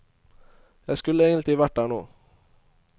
Jeg skulle egentlig vært der nå.